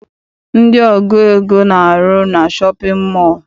Ndị ọgụ ego na-arụ na shọpịn mọọ.